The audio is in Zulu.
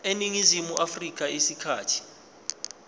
eningizimu afrika isikhathi